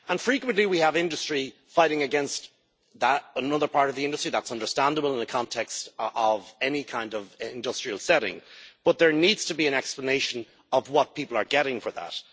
Frequently, we have industry fighting against another part of the industry that's understandable in the context of any kind of industrial setting, but there needs to be an explanation of what people are getting for that.